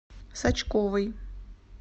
сачковой